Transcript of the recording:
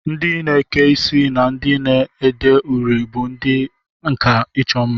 Ndị na-eke isi na ndị na-ede uri bụ ndị nkà ịchọ mma